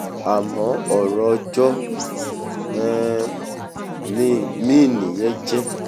àmọ́ ọ̀rọ̀ ọjọ́ um mìíì nìyẹn jẹ́